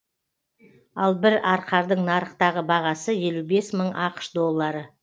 ал бір арқардың нарықтағы бағасы елу бес мың ақш доллары